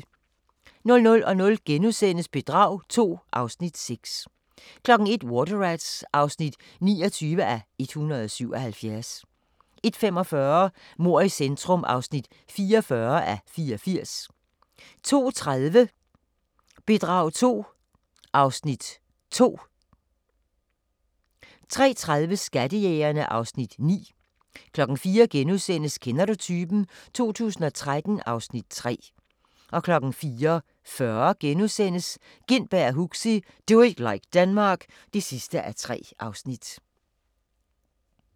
00:00: Bedrag II (Afs. 6)* 01:00: Water Rats (29:177) 01:45: Mord i centrum (44:84) 02:30: Bedrag II (Afs. 2) 03:30: Skattejægerne (Afs. 9) 04:00: Kender du typen? 2013 (Afs. 3)* 04:40: Gintberg og Huxi – Do it like Denmark (3:3)*